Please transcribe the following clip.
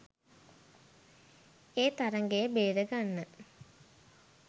ඒ තරඟය බේරගන්න.